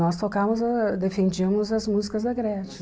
Nós tocávamos, ah defendíamos as músicas da Gretchen.